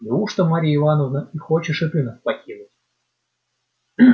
неужто марья ивановна и хочешь и ты нас покинуть